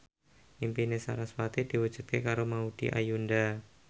impine sarasvati diwujudke karo Maudy Ayunda